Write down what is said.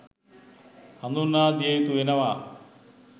හඳුන්වා දිය යුතු වෙනවා